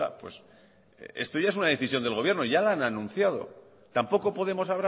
pues esto ya es una decisión del gobierno ya lo han anunciado tampoco podemos